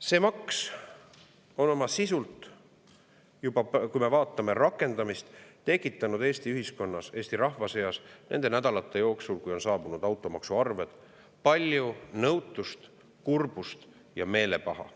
Kui me vaatame rakendamist, siis see maks on oma sisu tõttu tekitanud Eesti ühiskonnas, Eesti rahva seas nende nädalate jooksul, kui on saabunud automaksuarved, palju nõutust, kurbust ja meelepaha.